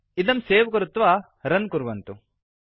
इदं सेव् कृत्वा रन् कुर्वन्तु